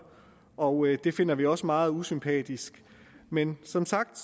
og det finder vi også er meget usympatisk men som sagt